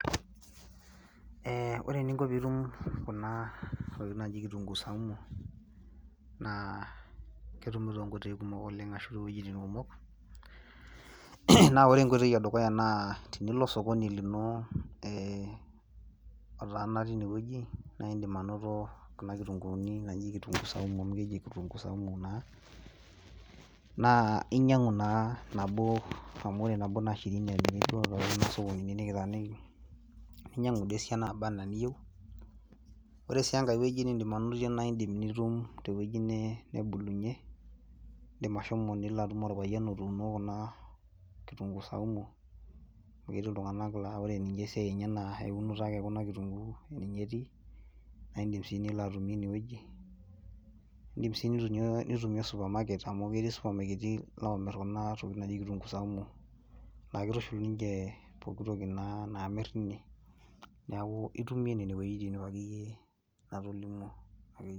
Ee ore eninko pee itum Kuna tokitin naaji kitunkuu saumu, naa ketumi too nkoitoi kumok oleng ashu iwuejitin kumok, naa ore enkoitoi edukuya naa tenilo osokoni lino otaana tine wueji naa idim anoto Kuna kitunkuuni, naji kitunkuu saumu amu keji kitunkuu saumu Kuna. naa inyiang'un naa nabo nikitaaniki. ninyiangu duo esiana naba anaa eniyieu. Ore sii enkae wueji nidim anotie naa itum te wueji nebulunyie, idim ashomo nilo atum olpayian otuuno Kuna, kitunkuu saumu amu ketii iltunganak laa ore ninye esiai enye naa eunoto ake ekuna kitunkuu ninye etii naa idim sii nilo atumie ine wueji netui super market naamir Kuna tokitin, neeku itumie nene wuejitin.